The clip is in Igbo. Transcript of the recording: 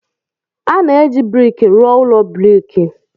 A na-eji brik rụọ ụlọ brik.